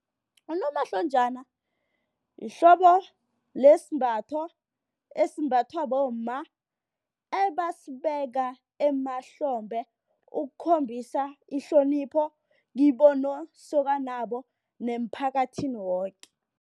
Unomahlonjana yihlobo lesambatho esimbathwa bomma. Ebasibeka emahlombe ukukhombisa ihlonipho kinobosokanabo neemphakathini woke.